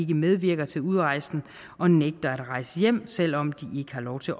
medvirker til udrejsen og nægter at rejse hjem selv om de ikke har lov til